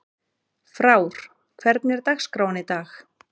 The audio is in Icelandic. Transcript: Frár, hvernig er dagskráin í dag?